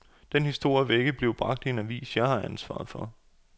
Den historie vil ikke blive bragt i en avis, jeg har ansvaret for.